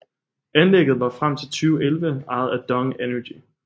Anlægget var frem til 2011 ejet af DONG Energy